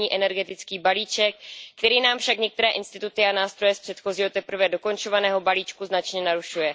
zimní energetický balíček, který nám však některé instituty a nástroje z předchozího teprve dokončovaného balíčku značně narušuje.